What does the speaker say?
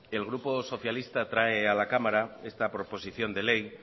el grupo socialista trae a la cámara esta proposición de ley